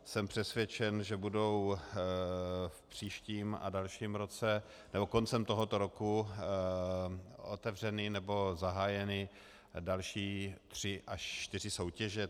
Jsem přesvědčen, že budou v příštím a dalším roce nebo koncem tohoto roku otevřeny nebo zahájeny další tři až čtyři soutěže.